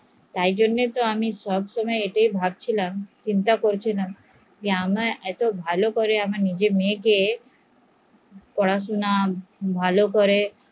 তার জন্যই আমি ভাবসিলাম চিন্তা করছিলাম যে আমার এতো ভালো করে নিজের মেয়েকে পড়াশুনা ভাল করে